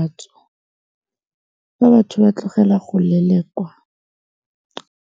batho ba tlogela go lelekwa.